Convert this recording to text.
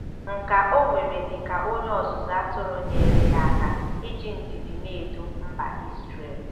Nkà o nwere dị ka onye ọzụzụ atụrụ nyeere ya aka iji ndidi na-edu mba Izrel.